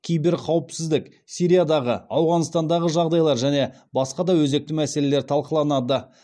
киберқауіпсіздік сириядағы ауғанстандағы жағдайлар және басқа да өзекті мәселелер талқыланады